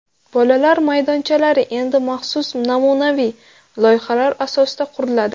Bolalar maydonchalari endi maxsus namunaviy loyihalar asosida quriladi.